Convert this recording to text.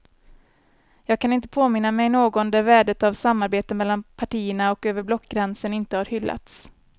Jag kan inte påminna mig någon där värdet av samarbete mellan partierna och över blockgränsen inte har hyllats.